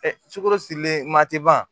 sukoro sirilen ma tɛ ban